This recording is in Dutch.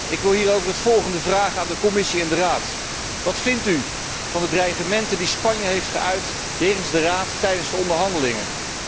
Ik wil hierover het volgende vragen aan de Commissie en de Raad Wat vindt u van de dreigementen die Spanje heeft geuit jegens de Raad tijdens de onderhandelingen?